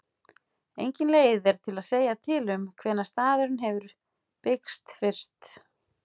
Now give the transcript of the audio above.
Engin leið er að segja til um hvenær staðurinn hefur byggst fyrst.